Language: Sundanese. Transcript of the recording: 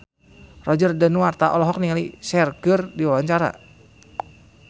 Roger Danuarta olohok ningali Cher keur diwawancara